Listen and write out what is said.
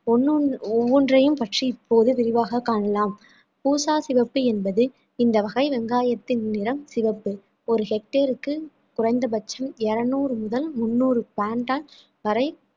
ஒண்ணு ஒண்ணு ஒவ்வொன்றையும் பற்றி இப்போது விரிவாக காணலாம் பூசா சிவப்பு என்பது இந்த வகை வெங்காயத்தின் நிறம் சிவப்பு ஒரு hectare க்கு குறைந்த பட்சம் இருநூறு முதல் முந்நூறு வரை